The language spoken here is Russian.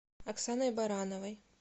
оксаной барановой